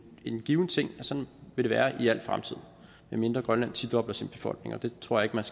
en given ting og sådan vil det være i al fremtid medmindre grønland tidobler sin befolkning og det tror jeg